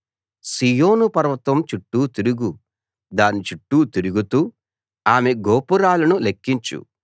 సీయోను పర్వతం చుట్టూ తిరుగు దాని చుట్టూ తిరుగుతూ ఆమె గోపురాలను లెక్కించు